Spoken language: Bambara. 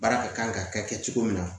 Baara ka kan ka kɛ kɛ cogo min na